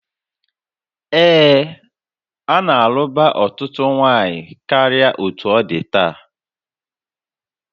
Ee, a na-alụbụ ọtụtụ nwanyị karịa otú ọ dị taa